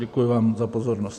Děkuji vám za pozornost.